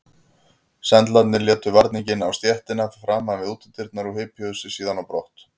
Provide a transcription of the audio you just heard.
Sendlarnir létu varninginn á stéttina framan við útidyrnar og hypjuðu sig síðan á brott.